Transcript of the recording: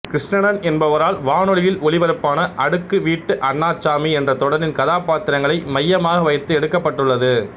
கிருஷணன் என்பவரால் வானொலியில் ஒளிபரப்பான அடுக்கு வீட்டு அண்ணாசாமி என்ற தொடரின் கதாபாத்திரங்களை மையமாக வைத்து எடுக்குப்பட்டுள்ளது